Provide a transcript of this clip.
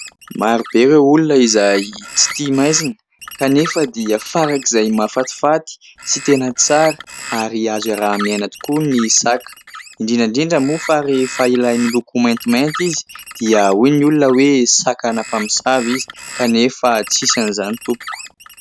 Maro be ireo olona izay tsy tia maizina, kanefa dia farak'izay mahafatifaty sy tena tsara ary azo iaraha-miaina tokoa ny saka. Indrindra indrindra moa fa rehefa ilay miloko maintimainty izy dia hoy ny olona hoe : saka ana-mpamosavy izy. Kanefa tsisy an'izany tompoko !